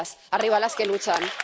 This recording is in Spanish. ¡Arriba las que luchan!